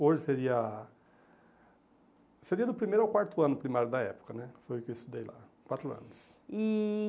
Hoje seria seria do primeiro ao quarto ano primário da época né, foi o que eu estudei lá, quatro anos. E